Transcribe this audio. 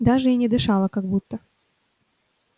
даже и не дышала как будто